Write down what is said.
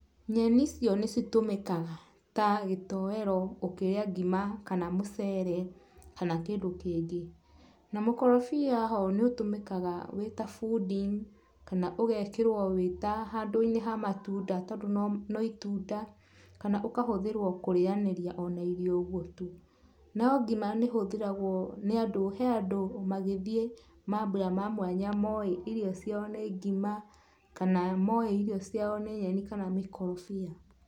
Nyeni cio nĩ citũmĩkaga ta gĩtoero ũkĩrĩa ngima kana mũcere kana kĩndũ kĩngĩ. Na mũkorobia ho nĩũtũmĩkaga wĩ ta fooding kana ũgekĩrwo wĩ ta handũ-inĩ ha matunda tondũ no itunda kana ũkahũthĩrwo kũrĩanĩria o na irio ũguo tu. No ngima nĩ ĩhũthagĩrwo nĩ andũ, he andũ magĩthiĩ mambura ma mwanya moĩ irio ciao nĩ ngima kana moĩ irio ciao nĩ nyeni kana mĩkorobia.